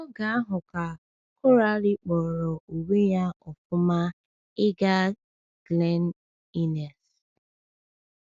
N’oge ahụ ka Coralie kpọrọ onwe ya ọ̀fụma ịga Glen Innes.